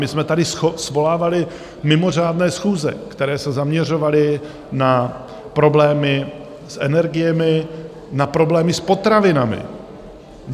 My jsme tady svolávali mimořádné schůze, které se zaměřovaly na problémy s energiemi, na problémy s potravinami.